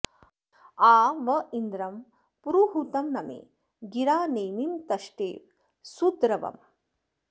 आ व इन्द्रं पुरुहूतं नमे गिरा नेमिं तष्टेव सुद्र्वम्